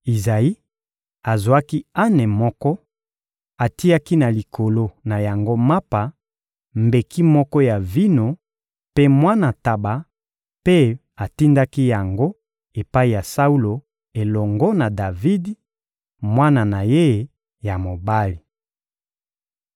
Izayi azwaki ane moko; atiaki na likolo na yango mapa, mbeki moko ya vino mpe mwana ntaba, mpe atindaki yango epai ya Saulo elongo na Davidi, mwana na ye ya mobali.